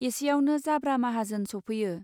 एसेआवनो जाब्रा माहाजोन सौफैयो.